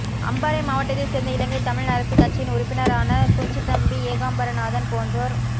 அம்பாறை மாவட்டத்தைச் சேர்ந்த இலங்கைத் தமிழ் அரசுக் கட்சியின் உறுப்பினரான குஞ்சித்தம்பி ஏகாம்பரநாதன் போன்றோர்